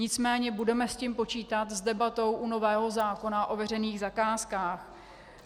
Nicméně budeme s tím počítat, s debatou u nového zákona o veřejných zakázkách.